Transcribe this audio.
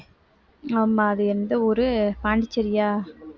ஆமா அது எந்த ஊரு பாண்டிச்சேரியா